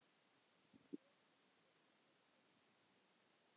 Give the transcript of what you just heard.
Ef hann verður þyrstur aftur.